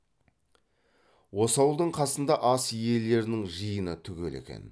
осы ауылдың қасында ас иелерінің жиыны түгел екен